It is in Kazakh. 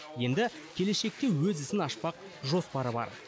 енді келешекте өз ісін ашпақ жоспары бар